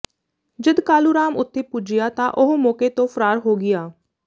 ਜਦ ਕਾਲੂ ਰਾਮ ਉਥੇ ਪੁੱਜਿਆ ਤਾਂ ਉਹ ਮੌਕੇ ਤੋਂ ਫਰਾਰ ਹੋ ਗਿਆ